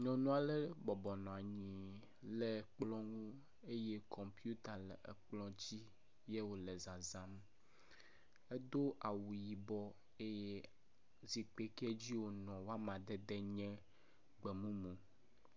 Nyɔnu aɖe bɔbɔ nɔ anyi le kplɔ ŋu eye kɔmpita le kplɔ dzi wòle zazãm. Edo awu yibɔ eye zikpui kɛ dzi wònɔ ƒe amadede nye gbemumu.